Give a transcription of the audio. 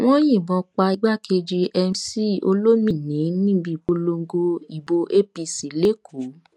wọn yìnbọn pa igbákejì mc olomini níbi ìpolongo ìbò apc lẹkọọ